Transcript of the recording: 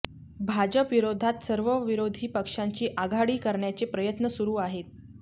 भाजपविरोधात सर्व विरोधी पक्षांची आघाडी करण्याचे प्रयत्न सुरू आहेत